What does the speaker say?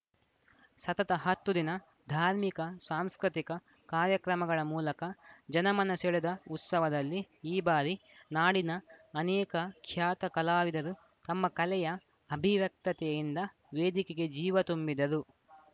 ಸತತ ಹತ್ತು ದಿನ ಧಾರ್ಮಿಕ ಸಾಂಸ್ಕೃತಿಕ ಕಾರ್ಯಕ್ರಮಗಳ ಮೂಲಕ ಜನಮನ ಸೆಳೆದ ಉತ್ಸವದಲ್ಲಿ ಈ ಬಾರಿ ನಾಡಿನ ಅನೇಕ ಖ್ಯಾತ ಕಲಾವಿದರು ತಮ್ಮ ಕಲೆಯ ಅಭಿವ್ಯಕ್ತತೆಯಿಂದ ವೇದಿಕೆಗೆ ಜೀವ ತುಂಬಿದರು